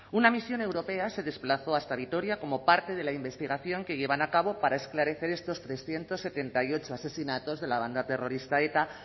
una misión europea se desplazó hasta vitoria como parte de la investigación que llevan a cabo para esclarecer estos trescientos setenta y ocho asesinatos de la banda terrorista eta